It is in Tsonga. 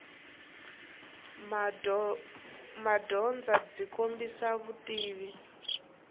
madyondza byi kombisa vutivi